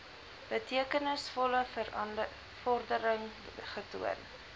betekenisvolle vordering getoon